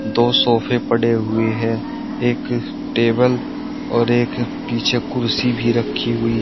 दो सोफे पड़े हुए हैं एक टेबल और एक पीछे कुर्सी भी रखी हुई है।